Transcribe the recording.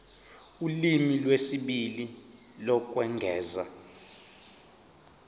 ulimi lwesibili lokwengeza